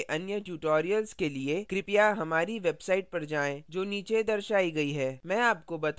इस प्रकार के अन्य tutorials के लिए कृपया हमारी website पर जाएँ जो नीचे दर्शायी गई है